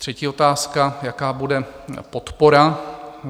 Třetí otázka: Jaká bude podpora?